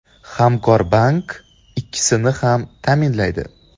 Hamkorbank ikkisini ham ta’minlaydi.